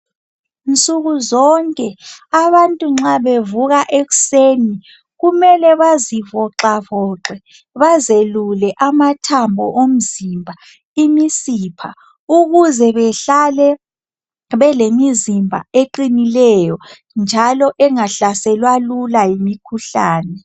Nsukuzonke abantu nxa bevuka ekuseni kumele bazivoxavoxe bazelule amathambo omzimba, imisipha ukuze behlale belimizimba eqinileyo njalo engahlaselwa lula yimikhuhlane.